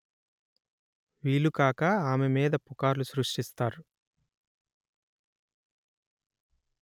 వీలుకాక ఆమె మీద పుకార్లు సృష్టిస్తారు